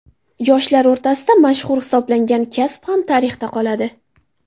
Yoshlar orasida mashhur hisoblangan kasb ham tarixda qoladi.